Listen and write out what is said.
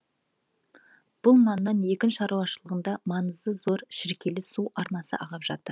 бұл маңнан егін шаруашылығында маңызы зор шіркейлі су арнасы ағып жатыр